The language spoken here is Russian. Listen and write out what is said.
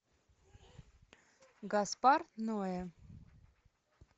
гаспар ноэ